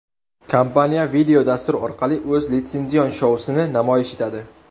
Kompaniya videodastur orqali o‘z litsenzion shousini namoyish etadi.